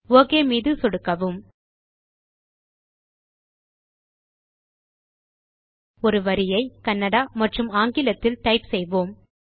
okay மீது சொடுக்கவும் ஒரு வரியை கன்னடா மற்றும் ஆங்கிலத்தில் டைப் செய்வோம்